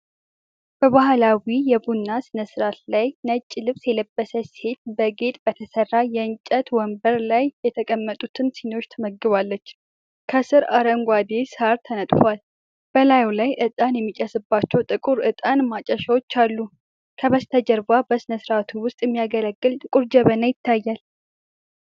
በባህላዊ የቡና ሥነ-ሥርዓት ላይ ነጭ ልብስ የለበሰች ሴት፣ በጌጥ በተሠራ የእንጨት መንበር ላይ የተቀመጡትን ሲኒዎች ትመግባለች። ከስር አረንጓዴ ሳር ተነጥፏል፤ በላዩ ላይ ዕጣን የሚጨስባቸው ጥቁር ዕጣን ማጨሻዎች አሉ። ከበስተጀርባ በሥርዓቱ ውስጥ የሚያገለግል ጥቁር ጀበና ይታያል።